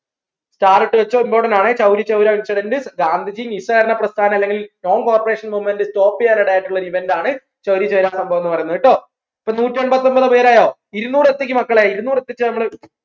start ഇട്ടു വെച്ചോ Important ആണേ ചൗരി ചൗരാ incident ഗാന്ധിജി നിസ്സാരണ പ്രസ്ഥാനം അല്ലെങ്കിൽ non corporation movement stop ചെയ്യാൻ ഇടയായിട്ടുള്ള ഒരു event ആണ് ചൗരി ചൗരാന്ന് പറയുന്ന സംഭവം ട്ടോ അപ്പോ നൂറ്റൻമ്പത്തൊമ്പത്‌ പേര് ആയോ ഇരുന്നൂറ് എത്തിക്ക് മക്കളെ ഇരുന്നൂറ് എത്തിച്ച